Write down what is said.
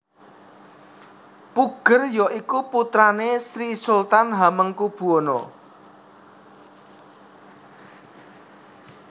Puger ya iku putrane Sri Sultan Hamengkubuwana